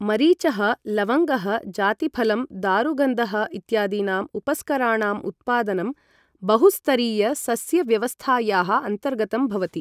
मरिचः, लवङ्गः, जातिफलं, दारुगन्धः इत्यादीनाम् उपस्कराणाम् उत्पादनं बहुस्तरीयसस्यव्यवस्थायाः अन्तर्गतं भवति।